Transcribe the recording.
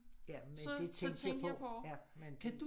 Ja men det tænkte jeg på ja men det